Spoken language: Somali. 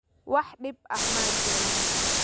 Wax dhib ah ma jiraan